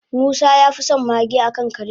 musa yafison mage akan kare